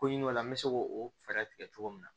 Ko ɲim'o la n bɛ se k'o fɛɛrɛ tigɛ cogo min na